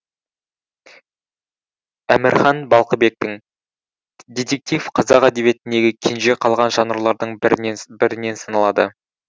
әмірхан балқыбектің детектив қазақ әдебиетіндегі кенже қалған жанрлардың бірінен саналады